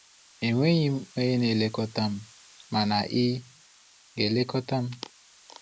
E nweghi m onye na-elekọta m, mana ị ga-elekọta m.